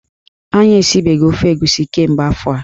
Anyị esibeghi ofe egusi kemgbe afọ a.